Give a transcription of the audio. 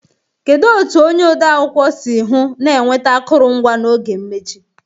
Kedu otu onye ọdee akwụkwọ si hụ na enweta akụrụngwa n'oge mmechi?